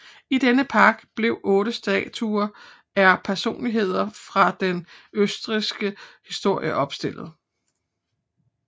I denne park blev 8 statuer er personligheder fra den østrigske historie opstillet